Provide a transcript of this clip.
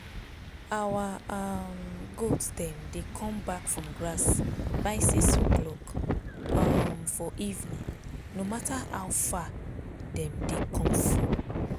our um goat dem dey come back from grass by six o'clock um for evening no matter how far dem dey come from.